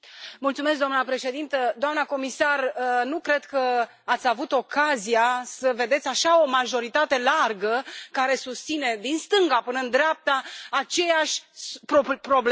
Doamnă președintă, doamnă comisar, nu cred că ați avut ocazia să vedeți așa o majoritate largă care susține, din stânga până în dreapta, aceeași problemă.